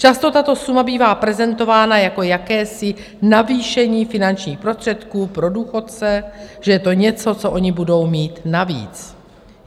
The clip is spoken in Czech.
Často tato suma bývá prezentována jako jakési navýšení finančních prostředků pro důchodce, že je to něco, co oni budou mít navíc.